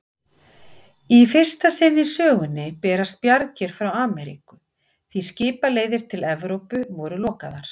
Í fyrsta sinn í sögunni berast bjargir frá Ameríku, því skipaleiðir til Evrópu voru lokaðar.